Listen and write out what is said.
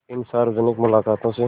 इन सार्वजनिक मुलाक़ातों से